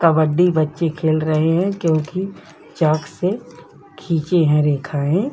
कबड्डी बच्चे खेल रहे है क्योंकि चॉक से खिंची है रेखाए।